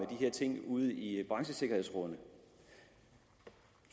her ting ude i branchesikkerhedsrådene